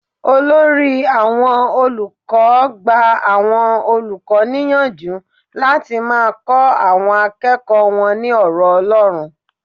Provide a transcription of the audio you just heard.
Olórí àwọn olùkọ́ gba àwọn olùkọ́ níyànjú láti máa kọ àwọn akẹ́kọ̀ọ́ wọn ní ọ̀rọ̀ Ọlọ́run.